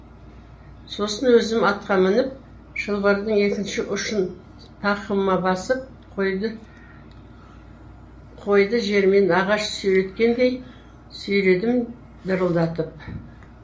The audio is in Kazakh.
сосын өзім атқа мініп шылбырдың екінші ұшын тақымыма басып қойды жермен ағаш сүйреткендей сүйредім дырылдатып